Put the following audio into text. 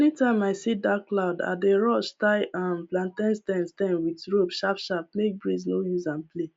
anytime i see dark cloud i dey rush tie um plantain stem stem with rope sharp sharp make breeze no use am play